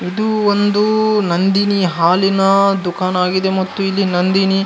ಇದು ಒಂದು ನಂದಿನಿ ಹಾಲಿನ ದುಕಾನ್ ಆಗಿದೆ ಮತ್ತು ಇಲ್ಲಿ ನಂದಿನಿ --